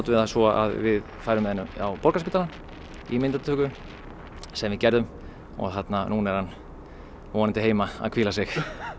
við það svo að við færum með hann á Borgarspítalann í myndatöku sem við gerðum og núna er hann vonandi heima að hvíla sig